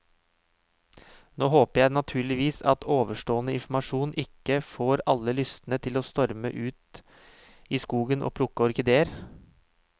Nå håper jeg naturligvis at ovenstående informasjon ikke får alle lystne til å storme ut i skogen og plukke orkideer.